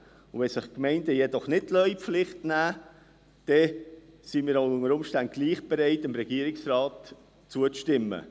Wenn sich die Gemeinden jedoch nicht in die Pflicht nehmen liessen, wären wir unter Umständen trotzdem bereit, dem Regierungsrat zuzustimmen.